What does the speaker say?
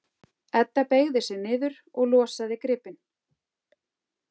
Edda beygði sig niður og losaði gripinn.